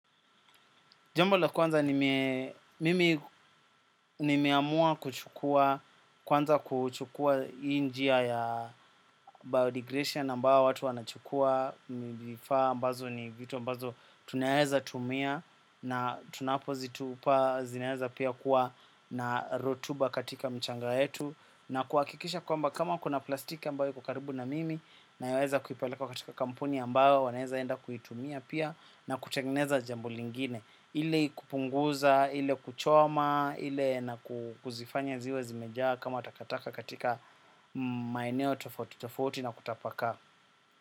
Jambo la kwanza mimi nimeamua kuchukua kwanza kuchukua hii njia ya biodigresia nambawo watu wanachukua mivifaa ambazo ni vitu mbazo tunaeheza tumia na tunapo zituupa zineheza pia kuwa na rotuba katika mchanga etu na kuakikisha kwamba kama kuna plastik ambayo iko karibu na mimi nayoweza kuipeleka katika kampuni ambayo waneza enda kuitumia pia na kutengeneza jambo lingine. Ile kupunguza, ile kuchoma, ile na kuzifanya ziwe zimejaa kama takataka katika maeneo tofauti na kutapaka.